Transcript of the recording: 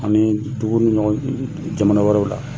Ani dugu ni ɲɔgɔn jamana wɛrɛw la.